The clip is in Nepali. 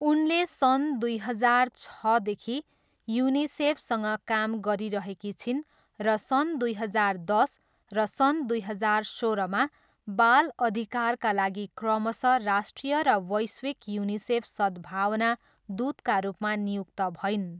उनले सन् दुई हजार छदेखि युनिसेफसँग काम गरिरहेकी छिन् र सन् दुई हजार दस र सन् दुई हजार सोह्रमा बाल अधिकारका लागि क्रमशः राष्ट्रिय र वैश्विक युनिसेफ सद्भावना दूतका रूपमा नियुक्त भइन्।